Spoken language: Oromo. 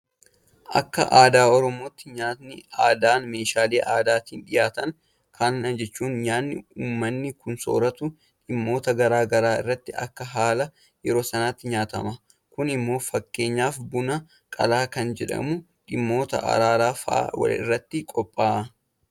Akka aadaa Oromootti nyaanni aadaa meeshaalee aadaatiin dhiyaata. Kana jechuun nyaanni uummanni kun soorratu dhimmoota garaa garaa irratti akka haala yeroo sanaatiin nyaatama. Kun immoo fakkeenyaaf Buna qalaa kan jedhamu dhimmoota araaraa fa'aa irratti qophaa'a.